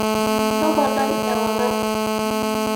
toponai ewangan